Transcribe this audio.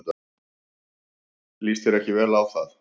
Líst þér ekki vel á það?